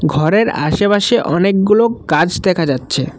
ঘরের আশেপাশে অনেকগুলো গাছ দেখা যাচ্ছে ।